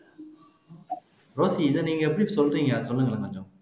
Rosie இதை நீங்க எப்படி சொல்றீங்க சொல்லுங்களேன் கொஞ்சம்